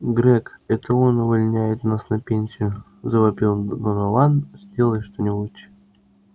грег это он увольняет нас на пенсию завопил донован сделай что-нибудь